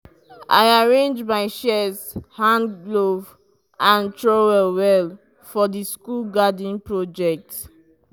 i arrange my shears hand glove and trowel well for the school garden project.